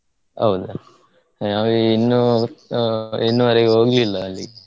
ಹೌದಾ? ನಾವು ಇನ್ನು ಇನ್ನುವರೆಗೂ ಹೋಗಿಲ್ಲಾ ಅಲ್ಲಿಗೆ.